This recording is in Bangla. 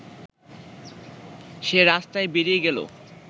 সে রাস্তায় বেরিয়ে গেল